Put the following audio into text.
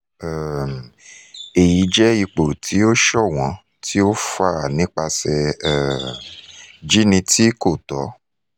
um eyi jẹ ipo ti o ṣọwọn ti o fa nipasẹ um jini ti ko tọ